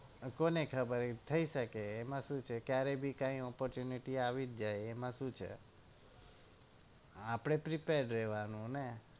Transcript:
અ કોને ખબર થઇ શકે એમાં શું છે ક્યારે બી કઈ opportunity આવી જાય એમાં શું છે આપડે prepare રેવાનું ને